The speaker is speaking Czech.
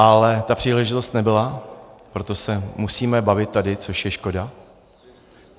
Ale ta příležitost nebyla, proto se musíme bavit tady, což je škoda.